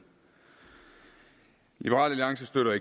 liberal alliance støtter